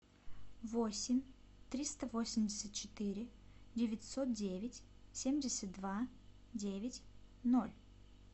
восемь триста восемьдесят четыре девятьсот девять семьдесят два девять ноль